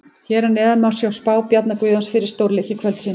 Hér að neðan má sjá spá Bjarna Guðjóns fyrir stórleiki kvöldsins.